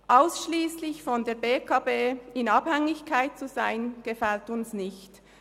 Ausschliesslich von der BEKB in Abhängigkeit zu sein, gefällt uns nicht.